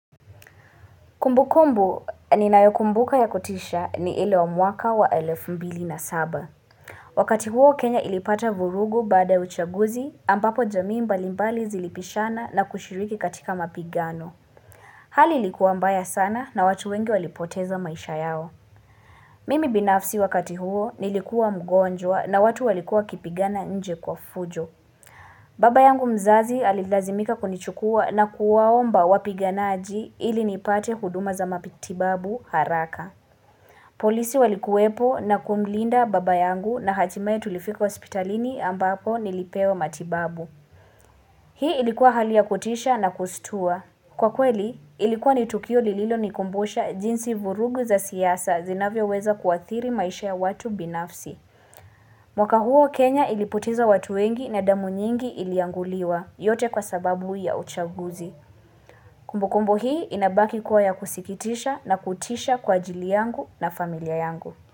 Kumbukumbu ni nayokumbuka ya kutisha ni ile wa mwaka wa elfu mbili na saba. Wakati huo kenya ilipata vurugu baada uchaguzi ambapo jamii mbalimbali zilipishana na kushiriki katika mapigano. Hali ilikuwa mbaya sana na watu wengi walipoteza maisha yao. Mimi binafsi wakati huo nilikuwa mgonjwa na watu walikuwa wakipigana nje kwa fujo. Baba yangu mzazi alilazimika kunichukua na kuwaomba wapiganaji ili nipate huduma za mapitibabu haraka. Polisi walikuwepo na kumlinda baba yangu na hatimaye tulifika hospitalini ambapo nilipewa matibabu. Hii ilikuwa hali ya kutisha na kustua. Kwa kweli, ilikuwa ni tukio lililo nikumbusha jinsi vurugu za siasa zinavyo weza kuathiri maisha ya watu binafsi. Mwaka huo Kenya ilipoteza watu wengi na damu nyingi ilianguliwa. Yote kwa sababu ya uchaguzi. Kumbu kumbu hii inabaki kuwa ya kusikitisha na kutisha kwa ajili yangu na familia yangu.